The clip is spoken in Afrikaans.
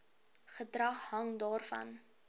bedrag hang daarvan